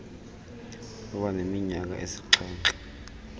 kuba neminyaka esixhenxe